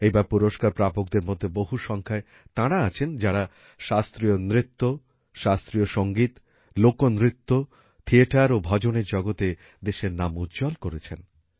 এইবার পুরস্কার প্রাপকদের মধ্যে বহু সংখ্যায় তারা আছেন যারা শাস্ত্রীয় নৃত্য শাস্ত্রীয় সংগীত লোকনৃত্য থিয়েটার ও ভজনের জগতে দেশের নাম উজ্জ্বল করেছেন